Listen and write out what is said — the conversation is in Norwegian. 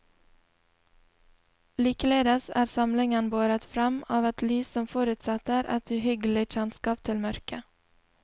Likeledes er samlingen båret fram av et lys som forutsetter et uhyggelig kjennskap til mørket.